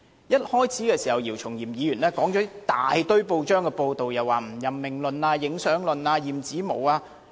一開始時，姚松炎議員引述大量報章報道，涉及不任命論、影相論、驗指紋。